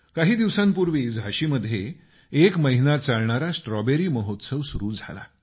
काही दिवसांपूर्वी झाशीत एक महिना चालणारा स्ट्रॉबेरी महोत्सव सुरू झाला